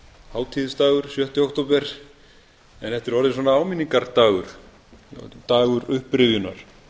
hátíðisdagur sjötta október en þetta er orðið svona áminningardagur dagur upprifjunar